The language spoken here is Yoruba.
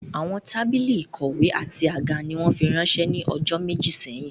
Àwọn tábìlì ìkọ̀wé àti àga ni wọ́n fi ránsẹ́ ní ọjọ́ méjì sẹ́yìn